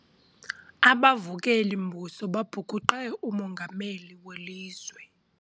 Abavukeli-mbuso babhukuqe umongameli welizwe.